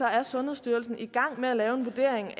er sundhedsstyrelsen i gang med at lave en vurdering